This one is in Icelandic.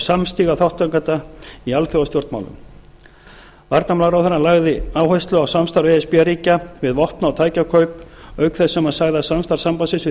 samstiga þátttakanda í alþjóðastjórnmálum varnarmálaráðherrann lagði áherslu á samstarf e s b ríkja við vopna og tækjakaup auk þess sem hann sagði að samstarf sambandsins við